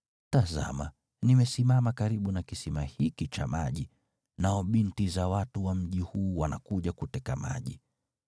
Tazama, nimesimama karibu na kisima hiki cha maji, nao binti za watu wa mji huu wanakuja kuteka maji.